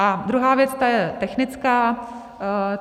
A druhá věc, ta je technická.